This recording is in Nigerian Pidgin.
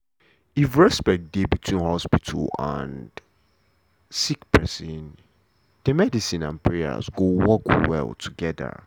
if respect dey between hospital and sick pesin de medicine and prayer go work well togeda.